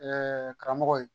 karamɔgɔ ye